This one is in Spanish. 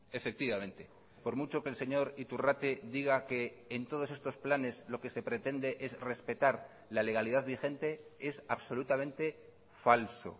efectivamente por mucho que el señor iturrate diga que en todos estos planes lo que se pretende es respetar la legalidad vigente es absolutamente falso